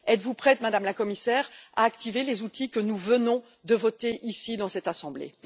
Êtes vous prête, Madame la Commissaire, à activer les outils que nous venons de voter ici, dans cette assemblée?